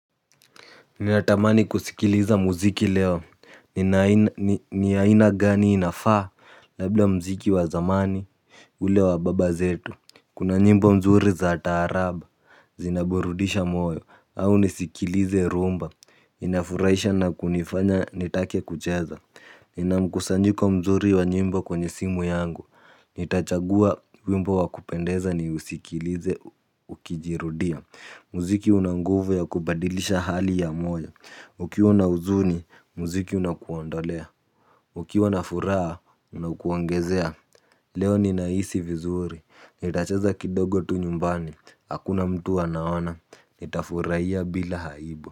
Ninatamani kusikiliza muziki leo, nina aina ni ni ya aina gani inafaa? Labla muziki wa zamani, ule wa baba zetu, kuna nyimbo nzuri za taarab, zinaburudisha moyo, au nisikilize rhumba, inafurahisha na kunifanya nitake kucheza, nina mkusanyiko mzuri wa nyimbo kwenye simu yangu, nitachagua wimbo wa kupendeza niusikilize ukijirudia. Muziki una nguvu ya kubadilisha hali ya moyo. Ukiwa na uzuni, muziki unakuondolea. Ukiwa na furaha, unakuongezea. Leo ninahisi vizuri. Nitacheza kidogo tu nyumbani. Hakuna mtu anaona. Nitafurahia bila aibu.